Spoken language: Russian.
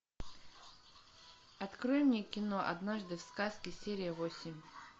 открой мне кино однажды в сказке серия восемь